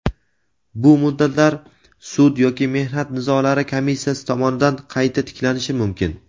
bu muddatlar sud yoki mehnat nizolari komissiyasi tomonidan qayta tiklanishi mumkin.